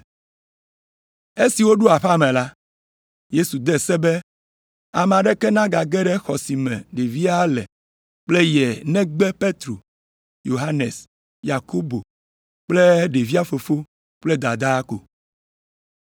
Esi woɖo aƒea me la, Yesu de se be ame aɖeke nagage ɖe xɔ si me ɖevia le kple ye o negbe Petro, Yohanes, Yakobo kple ɖevia fofo kple dadaa ko.